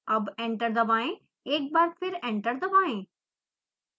अब एंटर दबाएं एक बार फिर एंटर दबाएं